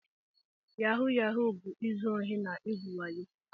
Yahu Yahu bu-izu ohi na igwu wayo.